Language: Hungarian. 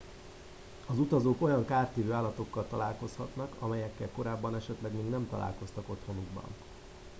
az utazók olyan kártevő állatokkal találkozhatnak amelyekkel korábban esetleg még nem találkoztak otthonukban